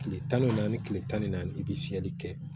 Tile tan ni naani tile tan ni naani i bɛ fiyɛli kɛ